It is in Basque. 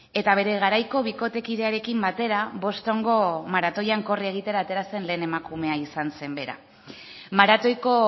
eta bere garaiko bikotekidearekin batera bostongo maratoian korri egitera atera zen lehen emakumea izan zen bera maratoiko